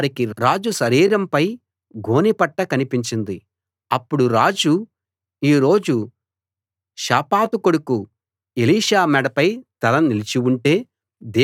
అప్పుడు రాజు ఈ రోజు షాపాతు కొడుకు ఎలీషా మెడపై తల నిలిచి ఉంటే దేవుడు నన్ను పెద్ద ప్రమాదంలో పడవేస్తాడు గాక అన్నాడు